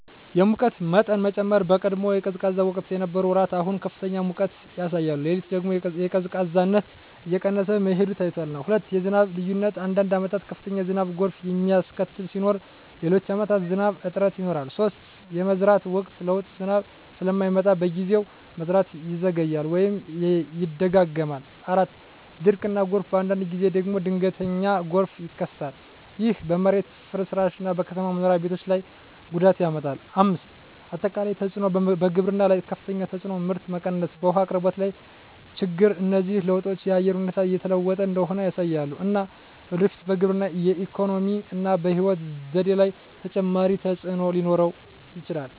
የሙቀት መጠን መጨመር በቀድሞ የቀዝቃዛ ወቅት የነበሩ ወራት አሁን ከፍተኛ ሙቀት ያሳያሉ። ሌሊት ደግሞ ቀዝቃዛነት እየቀነሰ መሄዱ ታይቷል። 2. የዝናብ ልዩነት አንዳንድ ዓመታት ከፍተኛ ዝናብ (ጎርፍ የሚያስከትል) ሲኖር፣ ሌሎች ዓመታት ዝናብ እጥረት ይኖራል። 3. የመዝራት ወቅት ለውጥ ዝናብ ስለማይመጣ በጊዜው፣ መዝራት ይዘገያል ወይም ይደጋገማል። 4. ድርቅ እና ጎርፍ በአንዳንድ ጊዜ ደግሞ ድንገተኛ ጎርፍ ይከሰታል። ይህ በመሬት ፍርስራሽ እና በከተማ መኖሪያ ቤቶች ላይ ጉዳት ያመጣል። 5. አጠቃላይ ተፅዕኖ በግብርና ላይ ከፍተኛ ተፅዕኖ (ምርት መቀነስ) በውሃ አቅርቦት ላይ ችግኝ እነዚህ ለውጦች የአየር ሁኔታ እየተለወጠ እንደሆነ ያሳያሉ፣ እና ለወደፊት በግብርና፣ በኢኮኖሚ እና በሕይወት ዘዴ ላይ ተጨማሪ ተፅዕኖ ሊኖር ይችላል።